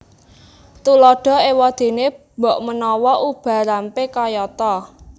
Tuladha éwadéné bokmanawa ubarampé kayata